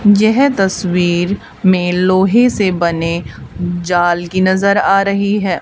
यह तस्वीर में लोहे से बने जाल की नजर आ रही है।